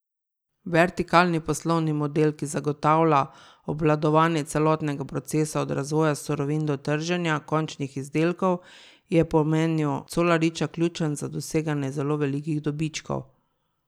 Vertikalni poslovni model, ki zagotavlja obvladovanje celotnega procesa od razvoja surovin do trženja končnih izdelkov, je po mnenju Colariča ključen za doseganje zelo velikih dobičkov.